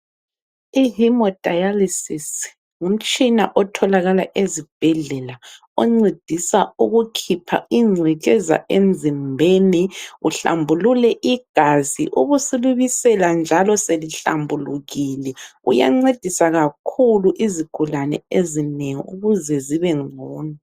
I hymodylisis ngumtshina otholakala ezibhedlela, oncedisa ukukhipha ingcekeza emzimbeni uhlambulule igazi. Ubusu libisela njalo selihlambulukile. Uyancedisa kakhulu izigulane ezinengi ukuze zibe ngcono.